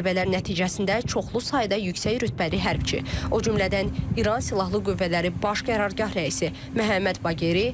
Zərbələr nəticəsində çoxlu sayda yüksək rütbəli hərbçi, o cümlədən İran Silahlı Qüvvələri Baş Qərargah rəisi Məhəmməd Baqeri,